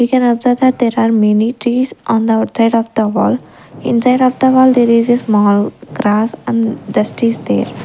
We can observe that there are many trees on the outside of the wall inside of the wall there is a small grass and dust is there.